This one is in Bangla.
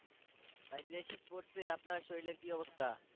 ভাই যে শীত পড়ছে আপনার শরীরের কি অবস্থা?